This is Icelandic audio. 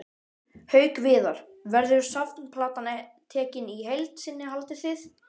Haukur Viðar: Verður safnplatan tekin í heild sinni haldið þið?